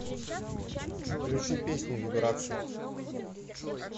включи песню вибрации